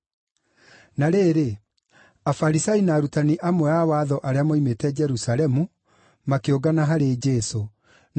Na rĩrĩ, Afarisai na arutani amwe a watho arĩa moimĩte Jerusalemu makĩũngana harĩ Jesũ na